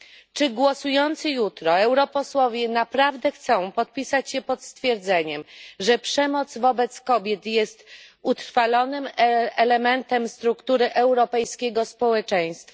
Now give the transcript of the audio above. Czy głosujący jutro europosłowie naprawdę chcą podpisać się pod stwierdzeniem, że przemoc wobec kobiet jest utrwalonym elementem struktury europejskiego społeczeństwa?